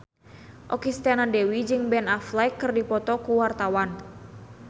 Okky Setiana Dewi jeung Ben Affleck keur dipoto ku wartawan